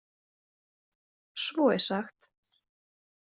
Svo er sagt.